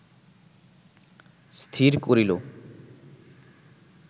স্থির করিল